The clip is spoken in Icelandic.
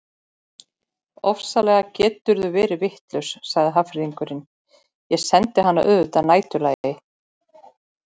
Ofsalega geturðu verið vitlaus sagði Hafnfirðingurinn, ég sendi hana auðvitað að næturlagi